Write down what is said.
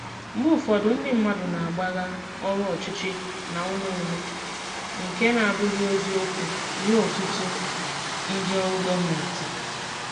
Mgbe ụfọdụ, ndị mmadụ na-agbagha ọrụ ọchịchị na ume ume, nke na-abụghị eziokwu nye ọtụtụ ndị ọrụ gọọmentị.